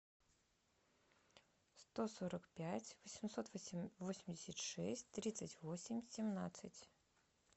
сто сорок пять восемьсот восемьдесят шесть тридцать восемь семнадцать